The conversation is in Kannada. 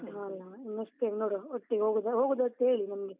ಹಾ ಅಲಾ? next time ನೋಡುವ, ಒಟ್ಟಿಗ್ ಹೋಗುದಾದ್ರೆ, ಹೋಗುದಂತ್ ಹೇಳಿ ನಮ್ಗೆ.